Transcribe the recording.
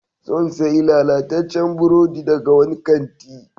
Sun sayi lalataccen burodi daga wani kanti.